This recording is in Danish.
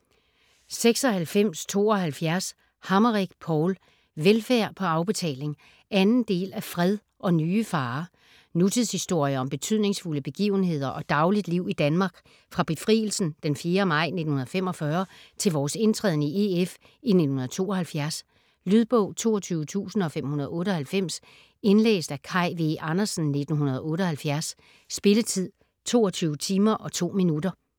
96.72 Hammerich, Paul: Velfærd på afbetaling 2. del af Fred og nye farer. Nutidshistorie om betydningsfulde begivenheder og dagligt liv i Danmark fra befrielsen 4. maj 1945 til vores indtræden i EF i 1972. Lydbog 22598 Indlæst af Kaj V. Andersen, 1978. Spilletid: 22 timer, 2 minutter.